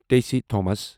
Tessy Thomas